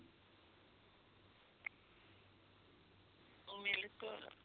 ਓ milk